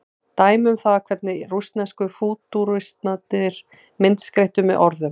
dæmi um það hvernig rússnesku fútúristarnir myndskreyttu með orðum